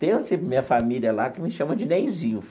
Tem assim minha família lá que me chama de Neizinho.